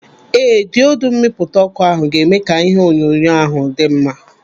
Ee, diodu mmipụta ọkụ ahụ ga-eme ka ihe onyonyo ahụ dị mma.